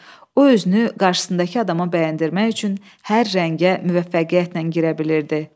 O özünü qarşısındakı adama bəyəndirmək üçün hər rəngə müvəffəqiyyətlə girə bilirdi.